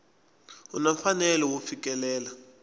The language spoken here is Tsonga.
u na mfanelo wo fikelela